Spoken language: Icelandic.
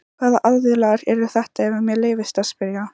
Hvaða aðilar eru þetta ef mér leyfist að spyrja?